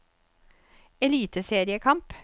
eliteseriekamp